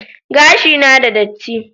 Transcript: Gashina na da datti